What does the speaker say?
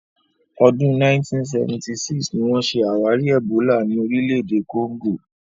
Ọdún 1976 ni wọ́n ṣe àwárí ẹ̀bólà ní orílẹ̀-èdè Congo.